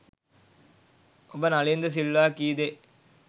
ඔබ නලින්ද සිල්වා කී දේ